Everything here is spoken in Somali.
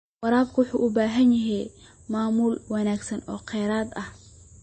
Waraabka waxa uu u baahan yahay maamul wanaagsan oo kheyraad ah.